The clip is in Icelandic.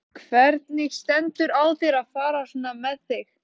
Hvernig stendur á þér að fara svona með þig?